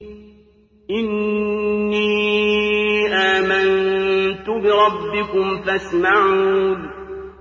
إِنِّي آمَنتُ بِرَبِّكُمْ فَاسْمَعُونِ